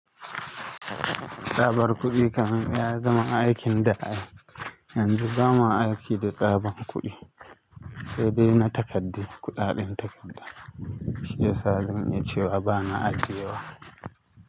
Tsabar kuɗi kam ya zama aikin da'a. Yanzu bama aiki da tsabar kuɗi, sai daina takaddu, kuɗaɗen takadda. Shiyasa zan iya cewa bana ajiyewa.